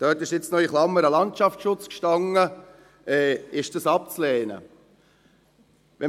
dort stand in Klammer Landschaftsschutz – abzulehnen sei.